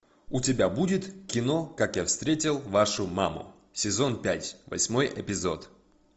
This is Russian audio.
у тебя будет кино как я встретил вашу маму сезон пять восьмой эпизод